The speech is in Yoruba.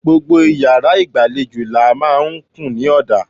Gbogbo iyàrá ìgbàlejò làá n máa kùn ní òdà